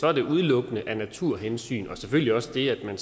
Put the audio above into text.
er det udelukkende af naturhensyn og selvfølgelig også det at